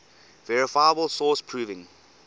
verifiable source proving